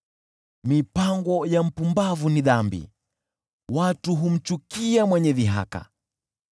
Mipango ya upumbavu ni dhambi, watu huchukizwa na mwenye dhihaka.